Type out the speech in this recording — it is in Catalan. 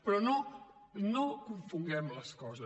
però no confonguem les coses